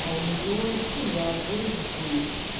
а у неё семья двое детей